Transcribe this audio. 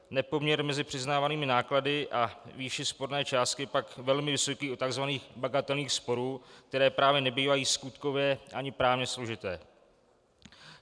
Nepoměr mezi přiznávanými náklady a výší sporné částky je pak velmi vysoký u tzv. bagatelních sporů, které právě nebývají skutkově ani právně složité.